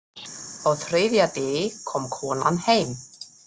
Á þriðja degi kom konan heim.